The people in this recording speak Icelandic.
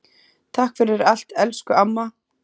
Takk fyrir allt, elsku amma.